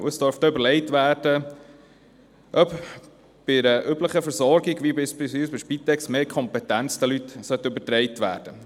Es dürfte überlegt werden, ob Leuten einer üblichen Versorgung wie beispielsweise der Spitex mehr Kompetenz übertragen werden sollte.